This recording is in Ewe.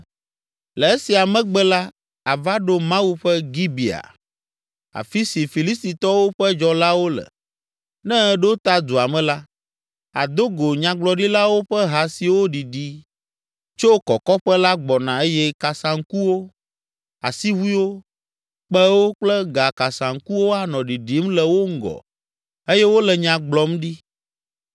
“Le esia megbe la, àva ɖo Mawu ƒe Gibea, afi si Filistitɔwo ƒe dzɔlawo le. Ne èɖo ta dua me la, àdo go Nyagblɔɖilawo ƒe ha siwo ɖiɖi tso kɔkɔƒe la gbɔna eye kasaŋkuwo, asiʋuiwo, kpẽwo kple gakasaŋkuwo anɔ ɖiɖim le wo ŋgɔ eye wole nya gblɔm ɖi.